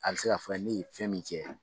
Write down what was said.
A bɛ se k'a fɔ ne ye fɛn min kɛ.